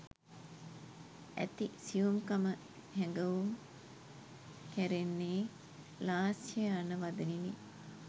ඇති සියුම්කම හැඟවුම් කැරෙන්නේ ලාස්‍ය යන වදනිණි